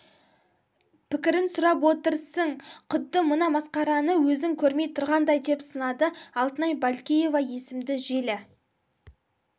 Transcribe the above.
пікірін сұрап отырсың құдды мына масқараны өзің көрмей тұрғандай деп сынады алтынай балкеева есімді желі